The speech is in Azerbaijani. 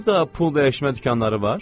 Burda pul dəyişmə dükanları var?